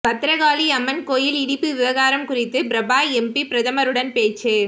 பத்திரகாளியம்மன் கோயில் இடிப்பு விவகாரம் குறித்து பிரபா எம்பி பிரதமருடன் பேச்சு